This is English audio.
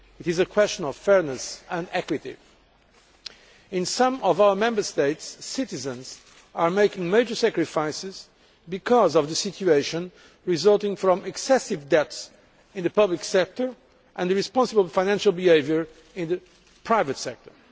it is a question of fairness and equity. In some of our Member States, citizens are making major sacrifices because of the situation resulting from excessive debts in the public sector and irresponsible financial behaviour in the private sector.